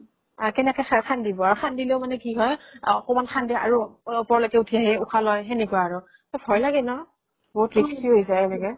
আৰু কেনেকে খান্দিব । আৰু খান্দিলেও মানেকি হয় আ অকনমান খান্দে আৰু ও ওপৰলৈকে উঠিআহি উশাহ লয়, সেনেকুৱা আৰু । তʼ ভয় লাগে ন ? বহুত risky হৈ যায় এনেকে